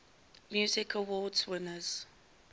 music awards winners